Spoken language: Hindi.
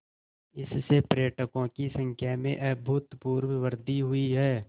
इससे पर्यटकों की संख्या में अभूतपूर्व वृद्धि हुई है